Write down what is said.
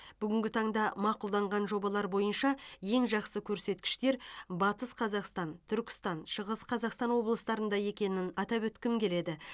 бүгінгі таңда мақұлданған жобалар бойынша ең жақсы көрсеткіштер батыс қазақстан түркістан шығыс қазақстан облыстарында екенін атап өткім келеді